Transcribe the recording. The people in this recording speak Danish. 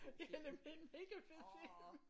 Det er nemlig en mega fed film